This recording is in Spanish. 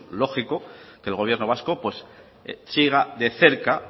lógico que el gobierno vasco siga de cerca